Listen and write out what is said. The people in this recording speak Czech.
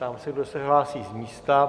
Ptám se, kdo se hlásí z místa.